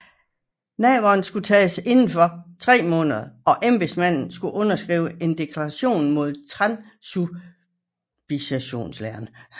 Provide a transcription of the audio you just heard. Nadveren skulle nu tages indenfor 3 måneder og embedsmanden skulle underskrive en deklaration mod transsubstantiationslæren